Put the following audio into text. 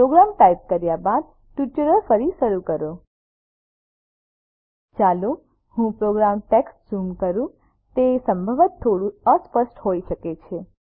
programme type કર્યા બાદ tutorial ફરી શરૂ કરો ચાલો હું પ્રોગ્રામ ટેક્સ્ટને ઝૂમ કરું તે સંભવતઃ થોડું અસ્પષ્ટ હોઈ શકે છે